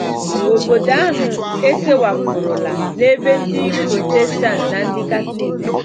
Obodo ahụ ekewapụrụla n’ebe Ndị Protestant na Ndị Katọlik bi.